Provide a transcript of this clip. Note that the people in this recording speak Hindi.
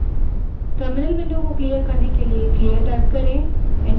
terminal window को clear करने के लिए clear type करें